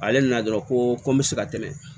Ale nana dɔrɔn ko n bɛ se ka tɛmɛ